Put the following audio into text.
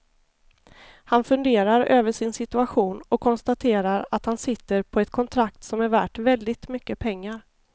Han funderar över sin situation och konstaterar att han sitter på ett kontrakt som är värt väldigt mycket pengar.